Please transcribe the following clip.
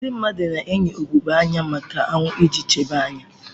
Ndị mmadụ na-eyi ugogbe anya maka anwụ iji chebe anya.